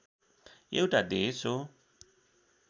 एउटा देश हो